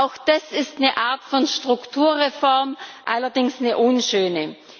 Auch das ist eine Art von Strukturreform, allerdings eine unschöne.